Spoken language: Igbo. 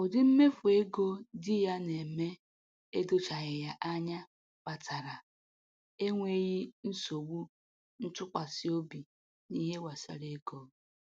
Ụdị mmefu ego di ya na-eme edochaghị ya anya kpatara enweghị nsogbu ntụkwasịobi n'ihe gbasara ego